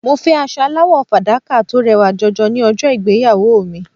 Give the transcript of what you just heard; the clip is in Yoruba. Mo fẹ́ aṣọ aláwọ̀ fàdákà tó rẹwà jọjọ ní ọjọ́ ìgbéyàwó mi.